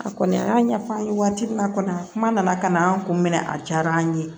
A kɔni a y'a ɲɛfɔ an ye waati min na kɔni a kuma nana ka na an kun minɛ a diyara an ye